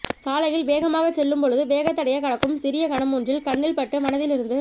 சாலையில் வேகமாகச் செல்லும் பொழுது வேகத்தடையைக் கடக்கும் சிறிய கணமொன்றில் கண்ணில் பட்டு மனதிலிருந்து